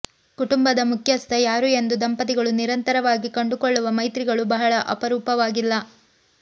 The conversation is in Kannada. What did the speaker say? ಕುಟುಂಬದ ಮುಖ್ಯಸ್ಥ ಯಾರು ಎಂದು ದಂಪತಿಗಳು ನಿರಂತರವಾಗಿ ಕಂಡುಕೊಳ್ಳುವ ಮೈತ್ರಿಗಳು ಬಹಳ ಅಪರೂಪವಾಗಿಲ್ಲ